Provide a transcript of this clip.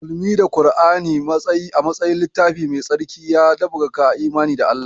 Musulunci da Kura'ni a matsayin littafi mai tsarki, ya ɗabbaƙa imani da Allah.